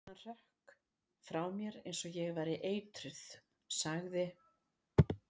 Hann hrökk frá mér eins og ég væri eitruð sagði